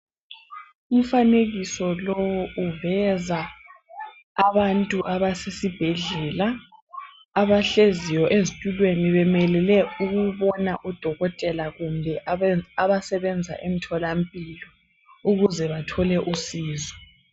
Umfanekiso lo uveza abantu abasesibhedlela abahleziyo ezitulweni bemelele ukubona odokotela kumbe abasebenza emtholampilo ukuze bathole usizo.